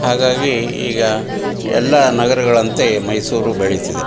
ಹಾಗಾಗಿ ಈಗ ಎಲ್ಲ ನಗರಗಳಂತೆ ಮೈಸೂರು ಬೆಳೀತಿದೆ.